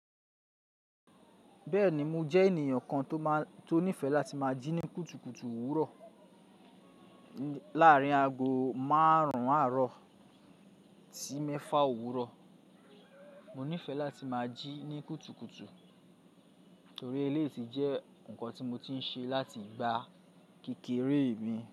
Bẹ́ẹ̀ni mo jẹ́ ènìyàn kan tó nífẹ̀ẹ́ láti máa jí ní kùtùkùtù òwúrọ̀ láàárín aago márùn-ún àárọ̀ sí mẹ́fà òwúrọ̀. Mo nífẹ̀ẹ́ láti máa jí ní kùtùkùtù torí eléyìí ti jẹ́ nǹkan tí mo ti ń ṣe láti ìgbà kékeré mi.